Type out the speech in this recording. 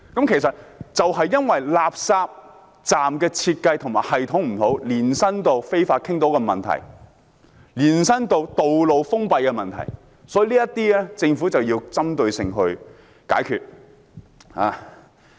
其實，這正是因為垃圾站的設計和系統有問題，延伸到非法傾倒的問題，以至道路封閉的問題，因此政府必須針對性地解決問題。